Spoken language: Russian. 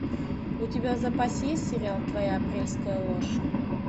у тебя в запасе есть сериал твоя апрельская ложь